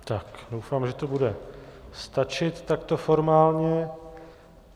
Tak doufám, že to bude stačit takto formálně.